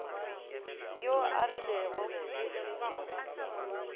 yo a rilego e se